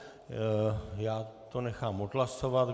Já to nechám odhlasovat.